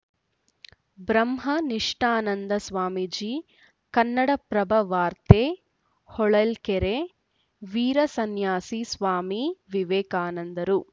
ಬ್ರಹ್ಮನಿಷ್ಠಾನಂದ ಸ್ವಾಮೀಜಿ ಕನ್ನಡಪ್ರಭವಾರ್ತೆ ಹೊಳಲ್ಕೆರೆ ವೀರಸನ್ಯಾಸಿ ಸ್ವಾಮಿ ವಿವೇಕಾನಂದರು